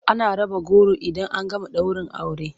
Ana raba goro idan an gama daurin aure.